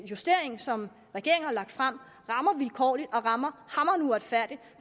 justering som regeringen har lagt frem rammer vilkårligt og rammer hamrende uretfærdigt